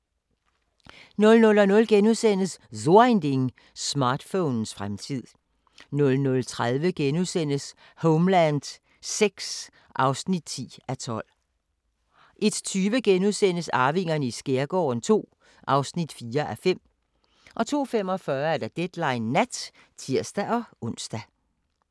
00:00: So Ein Ding: Smartphonens fremtid * 00:30: Homeland VI (10:12)* 01:20: Arvingerne i skærgården II (4:5)* 02:45: Deadline Nat (tir-ons)